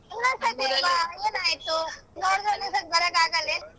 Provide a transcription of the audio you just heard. ಇನ್ನೊಂದ್ ಸತಿ ಬಾ ಏನಾಯ್ತು ನೋಡ್ದ ಬರಕ್ಕಾಗಲ್ಲೆನು?